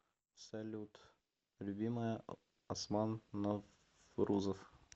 салют любимая осман наврузов